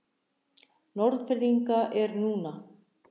Norðfirðinga eru núna.